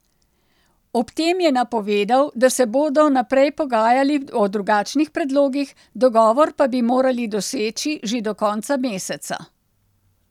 Ob tem je napovedal, da se bodo naprej pogajali o drugačnih predlogih, dogovor pa bi morali doseči že do konca meseca.